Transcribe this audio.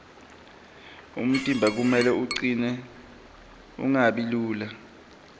umtimba kumele ucine ungabi lula